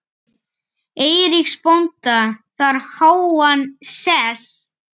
Eiríks bónda þar háan sess.